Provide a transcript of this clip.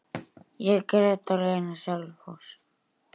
Ég grét á leiðinni á Selfoss.